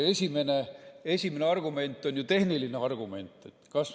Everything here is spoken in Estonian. Esimene argument on ju tehniline argument.